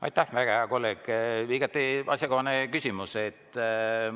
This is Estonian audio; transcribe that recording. Aitäh, väga hea kolleeg, igati asjakohane küsimus!